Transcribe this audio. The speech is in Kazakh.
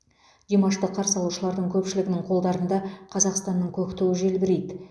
димашты қарсы алушылардың көпшілігінің қолдарында қазақстанның көк туы желбірейді